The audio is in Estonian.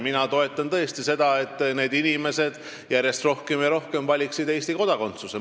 Ma toetan tõesti seda, et need inimesed järjest rohkem ja rohkem valiksid Eesti kodakondsuse.